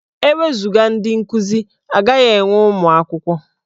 E wezuga ndị nkuzi, a gaghị enwe ụmụ akwụkwọ.